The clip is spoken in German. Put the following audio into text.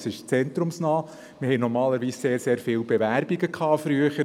Früher war es normal, dass wir sehr, sehr viele Bewerbungen erhielten.